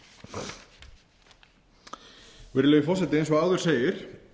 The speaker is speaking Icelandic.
síðar virðulegi forseti eins og áður segir